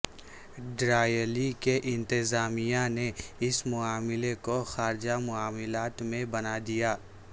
ڈراییلی کے انتظامیہ نے اس معاملے کو خارجہ معاملات میں بنا دیا